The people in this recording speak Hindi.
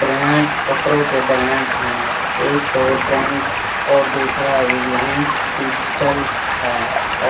ब्रांड्स कपड़ों के ब्रांडस हैं एक तो ट्रेंड्स और दूसरा रिलायंस डिजिटल है